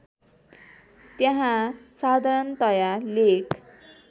त्यहाँ साधारणतया लेख